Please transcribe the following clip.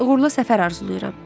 Uğurlu səfər arzulayıram.